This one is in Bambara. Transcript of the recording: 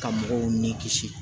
Ka mɔgɔw ni kisi